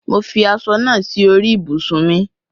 Mo fi aṣọ naa si orí ibùsùn mi